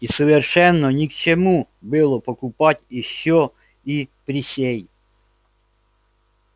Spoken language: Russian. и совершенно ни к чему было покупать ещё и присей